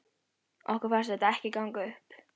Okkur fannst þetta ekki ganga upp.